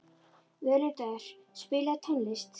Völundur, spilaðu tónlist.